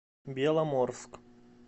беломорск